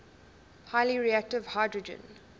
highly reactive hydrogen